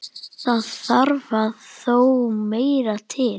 Það þarf þó meira til.